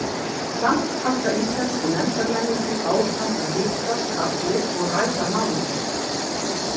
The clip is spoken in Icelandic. Samt halda íslensku nefndarmennirnir áfram að hittast allir og ræða málin.